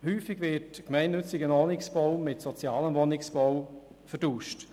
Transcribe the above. Häufig wird gemeinnütziger Wohnungsbau mit sozialem Wohnungsbau verwechselt.